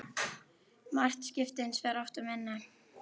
Mark skipti hins vegar oft um vinnu.